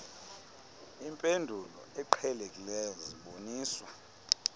impendulo eqhelekileyo ziboniswa